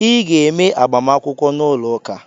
Ị ga eme -agbamakwụkwọ n’ụlọ ụka!